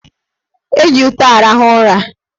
Eji ute arahụ ụra.